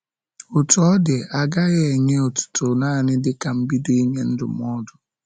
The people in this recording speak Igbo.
Otú ọ dị, a gaghị enye otuto naanị dịka mbido ịnye ndụmọdụ.